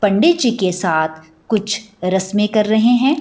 पंडी जी क साथ कुछ रस्में कर रहे हैं।